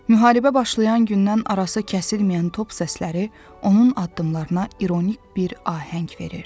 Müharibə başlayan gündən arası kəsilməyən top səsləri onun addımlarına ironik bir ahəng verir.